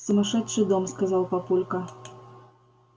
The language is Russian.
сумасшедший дом сказал папулька